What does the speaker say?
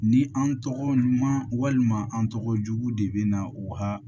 Ni an tɔgɔ ɲuman walima an tɔgɔ jugu de bɛ na u ka